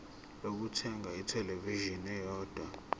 lokuthenga ithelevishini eyodwa